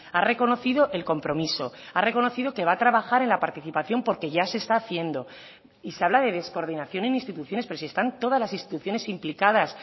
ha reconocido el compromiso ha reconocido que va a trabajar en la participación porque ya se está haciendo y se habla de descoordinación en instituciones pero si están todas las instituciones implicadas